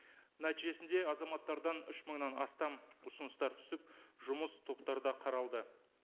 нәтижесінде азаматтардан үш мыңнан астам ұсыныстар түсіп жұмыс топтарда қаралды